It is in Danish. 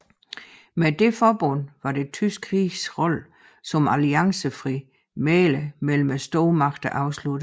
Med dette forbund var det tyske riges rolle som alliancefri mægler mellem stormagterne afsluttet